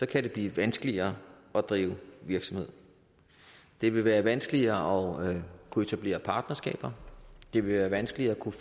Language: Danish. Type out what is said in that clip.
kan det blive vanskeligere at drive virksomhed det vil være vanskeligere at kunne etablere partnerskaber det vil være vanskeligere at kunne